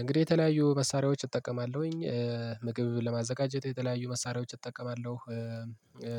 እንግዲህ የተለያዩ መሳሪያዎች እጠቀማለሁኝ። ምግብን ለማዘጋጀት የተለያዩ መሳሪያዎች እጠቀማለሁ።